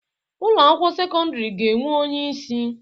Ụlọ akwụkwọ sekọndrị ga-enwe onye isi